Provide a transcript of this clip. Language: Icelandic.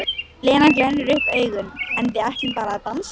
Lena glennir upp augun: En við ætlum bara að dansa.